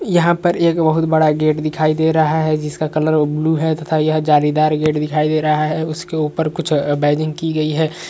यहाँं पर एक बहुत बड़ा गेट दिखाई दे रहा है जिसका कलर ब्लू है तथा यह जालीदार गेट दिखाई दे रहा है इसके ऊपर कुछ बाइजिंग की गई है।